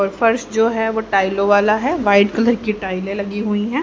और फर्श जो है वो टाइलों वाला है व्हाइट कलर की टाइलें लगी हुई है।